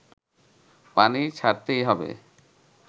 পানি ছাড়তেই হবে